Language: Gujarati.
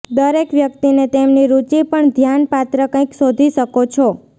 દરેક વ્યક્તિને તેમની રુચિ પણ ધ્યાનપાત્ર કંઈક શોધી શકો છો